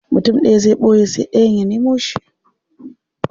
Mutum daya zai boye sai dayan ya nemo shi.